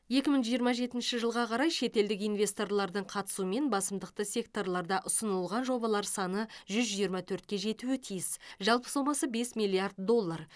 екі мың жиырма жетінші жылға қарай шетелдік инвесторлардың қатысуымен басымдықты секторларда ұсынылған жобалар саны жүз жиырма төртке жетуі тиіс жалпы сомасы бес миллиард доллар